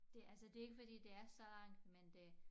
Det altså det ikke fordi det er så lang me det